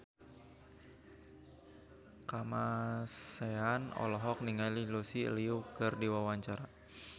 Kamasean olohok ningali Lucy Liu keur diwawancara